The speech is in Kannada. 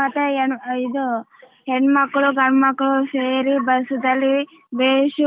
ಮತ್ತೆ ಏನ್ ಇದು ಹೆಣ್ಣಮಕ್ಕಳ್ಳು ಗಂಡಮಕ್ಕಳು ಸೇರಿ ಬಸ್ಸದಲ್ಲಿ ಬೇಸ್